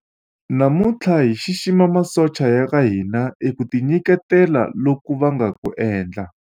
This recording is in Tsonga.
namuntlha hi xixima masocha ya ka hina eka ku tinyiketela loku va nga ku endla